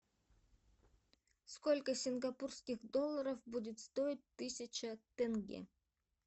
сколько сингапурских долларов будет стоить тысяча тенге